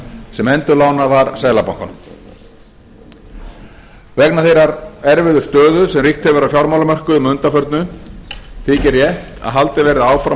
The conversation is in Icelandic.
sem endurlánað var seðlabankanum vegna þeirrar erfiðu stöðu sem ríkt hefur á fjármálamörkuðum að undanförnu þykir rétt að haldið verði áfram